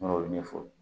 N'o ɲɛfɔ